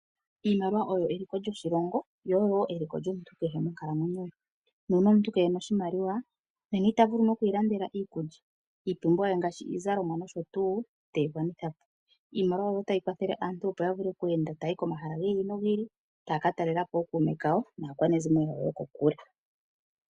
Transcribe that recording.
Iimaliwa oyo eliko lyoshilongo yo oyo eliko lyomuntu kehe monkalamwenyo ye. Nuuna omuntu keena oshimaliwa nena itavulu noku ilandela iikulya, iipumbiwa ye ngaashi iizalomwa nosho tuu iteyi gwanitha po. Iimaliwa oyo tayi kathele aantu opo yavule okweenda taya yi komahala gi ili nogi ili, taya katelela po ookuume kawo naakwanezimo yokokule.